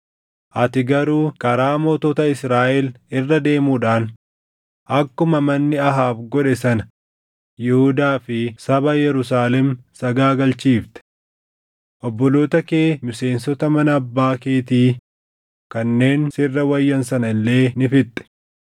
Ati garuu karaa mootota Israaʼel irra deemuudhaan akkuma manni Ahaab godhe sana Yihuudaa fi saba Yerusaalem sagaagalchiifte. Obboloota kee miseensota mana abbaa keetii kanneen sirra wayyan sana illee ni fixxe.